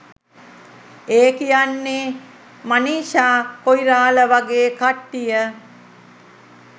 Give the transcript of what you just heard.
ඒ කියන්නේ මනිෂා කොයිරාල වගේ කට්ටිය.